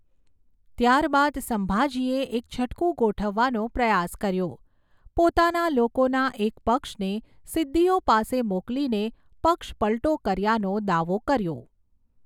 ત્યારબાદ સંભાજીએ એક છટકું ગોઠવવાનો પ્રયાસ કર્યો, પોતાના લોકોના એક પક્ષને સિદ્દીઓ પાસે મોકલીને પક્ષપલટો કર્યાનો દાવો કર્યો.